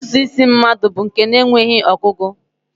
Ntụtụ isi mmadụ bụ nke enweghị ọgụgụ